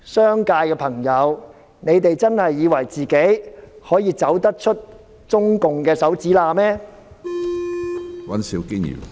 商界的朋友，你們真的以為自己可以走出中國共產黨的指縫嗎？